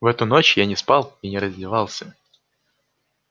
в эту ночь я не спал и не раздевался